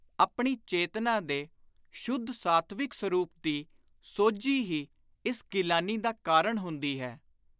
ਆਪਣੀ ਚੇਤਨਾ ਦੇ ਸ਼ੁੱਧ ਸਾਤਵਿਕ ਸਰੁਪ ਦੀ ਸੋਝੀ ਹੀ ਇਸ ਗਿਲਾਨੀ ਦਾ ਕਾਰਣ ਹੁੰਦੀ ਹੈ।